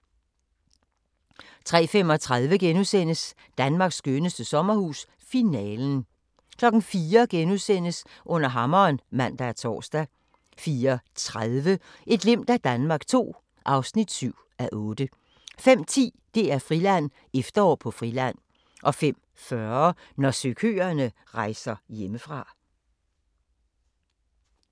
03:35: Danmarks skønneste sommerhus – Finalen * 04:00: Under hammeren *(man og tor) 04:30: Et glimt af Danmark II (7:8) 05:10: DR-Friland: Efterår på Friland 05:40: Når søkøerne rejser hjemmefra